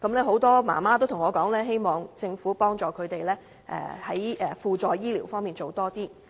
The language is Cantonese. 很多媽媽告訴我，希望政府幫助她們在輔助醫療服務方面多做一些。